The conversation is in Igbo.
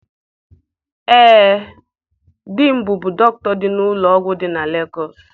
Ee, di m bụbu dọkịta n'ụlọ ọgwụ dị na Legọọsị.